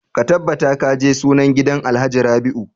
Ka tabbata ka je sunan gidan alhaji rabiu!